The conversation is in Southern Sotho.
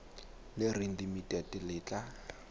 le reng limited le tla